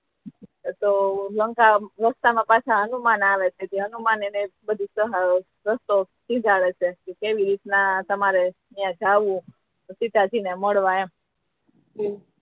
તો લંકામા રસ્તા મા પાછા હનુમાન આવે છે હનુમાન એને કેવી રીત ના જાવુ સીતાજી ને મળવા એમ